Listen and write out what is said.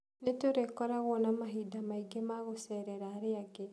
Nĩ tũrĩkoragwo na mahinda maingĩ ma gũceerera arĩa angĩ.